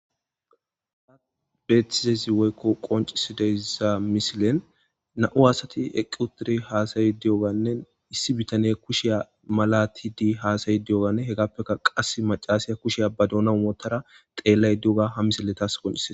Betizays woyko qoncisizaysi misilen nam'u asati eqqi uttidey hasay diyogabey issi bitaney kushaway malatidey hayasidey diyogay hegapey qassey macasiyay. Kushay bay duunan wotiyay ha misile tasi qonicisey